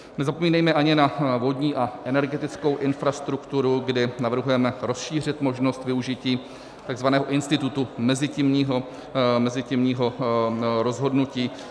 Nezapomínejme ani na vodní a energetickou infrastrukturu, kdy navrhujeme rozšířit možnost využití takzvaného institutu mezitímního rozhodnutí.